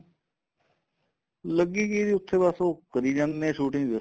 ਲੱਗੀ ਕੀ ਜੀ ਉੱਥੇ ਬੱਸ ਉਹ ਕਰੀ ਜਾਂਦੇ ਨੇ shooting